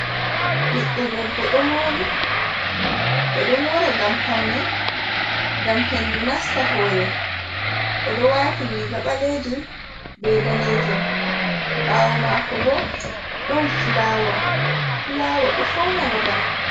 Ɓiɗɗo debbo ɗo mori. Ɓeɗo mora ngam paune, ngam hendu nasta hore. Oɗo wati riga ɓalejum be danejun. Ɓawo mako bo don fulawa. Fulawa ɗo fauna babal.